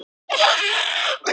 Örn öfundaði þau.